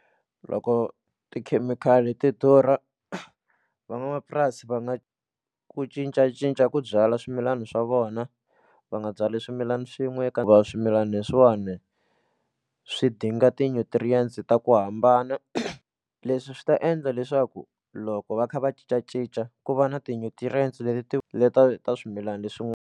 Loko tikhemikhali ti durha van'wamapurasi va nga ku cincacinca ku byala swimilana swa vona va nga byali swimilani swin'we eka va swimilani leswiwani swi dinga ti-nutrients ta ku hambana leswi swi ta endla leswaku loko va kha va cincacinca ku va na ti-nutrients leti ti leta ta swimilana leswin'wana.